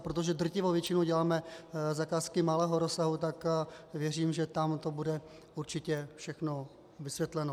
A protože drtivou většinu děláme zakázky malého rozsahu, tak věřím, že tam to bude určitě všechno vysvětleno.